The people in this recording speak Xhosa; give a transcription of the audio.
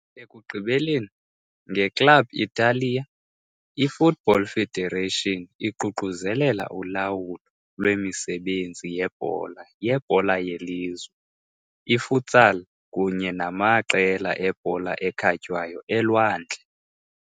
Ekugqibeleni, ngeClub Italia, i-Football Federation iququzelela ulawulo lwemisebenzi yebhola yebhola yelizwe, i-futsal kunye namaqela ebhola ekhatywayo elwandle.